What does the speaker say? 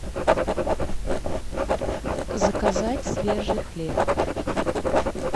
заказать свежий хлеб